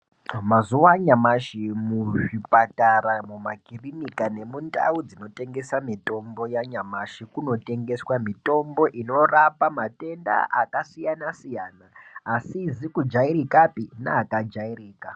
Mazuwa anyamashi muzvipatara, mumakirinika nemundau dzinotengesa mitombo yanyamashi munotengeswa mitombo inorapa matenda akasiyana siyana asizi kujairikapi neakajairika.